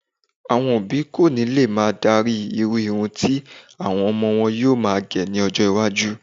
Àọn òbí kò ní lè máa darí irú irun tí àwọn ọmọ wọn yóò máa gẹ̀ ní ọjọ́-iwájú.